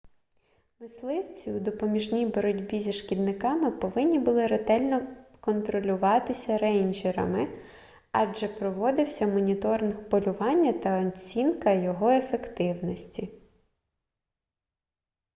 мисливці у допоміжній боротьбі зі шкідниками повинні були ретельно контролюватися рейнджерами адже проводився моніторинг полювання та оцінка його ефективності